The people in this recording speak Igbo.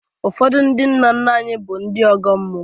Ụfọdụ ndị nna nna anyị bụrụ ndị ọgọ mmụọ